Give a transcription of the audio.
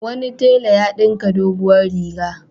Wani tela ya ɗinka doguwar riga.